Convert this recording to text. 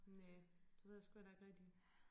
Næ det ved jeg sgu heller ikke rigtigt